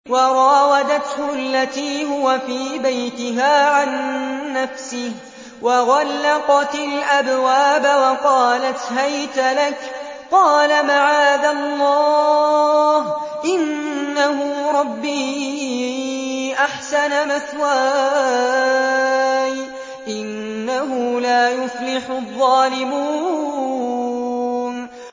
وَرَاوَدَتْهُ الَّتِي هُوَ فِي بَيْتِهَا عَن نَّفْسِهِ وَغَلَّقَتِ الْأَبْوَابَ وَقَالَتْ هَيْتَ لَكَ ۚ قَالَ مَعَاذَ اللَّهِ ۖ إِنَّهُ رَبِّي أَحْسَنَ مَثْوَايَ ۖ إِنَّهُ لَا يُفْلِحُ الظَّالِمُونَ